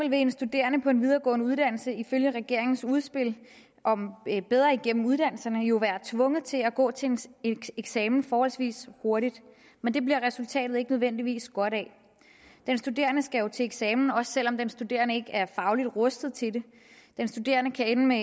en studerende på en videregående uddannelse ifølge regeringens udspil bedre igennem uddannelserne jo være tvunget til at gå til en eksamen forholdsvis hurtigt men det bliver resultatet ikke nødvendigvis godt af den studerende skal jo til eksamen også selv om den studerende ikke er fagligt rustet til det den studerende kan ende med